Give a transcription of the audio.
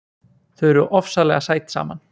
Þau eru ofsalega sæt saman.